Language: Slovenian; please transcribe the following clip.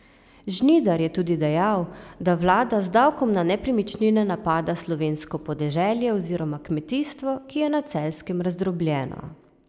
Žnidar je tudi dejal, da vlada z davkom na nepremičnine napada slovensko podeželje oziroma kmetijstvo, ki je na Celjskem razdrobljeno.